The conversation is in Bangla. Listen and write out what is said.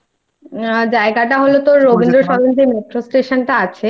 জায়গাটা হল তোর রবীন্দ্রসদন যে Metro